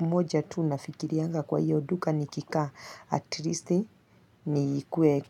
moja tu nafikirianga kwa hiyo duka nikikaa, atrisi ni kweli.